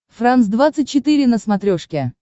франс двадцать четыре на смотрешке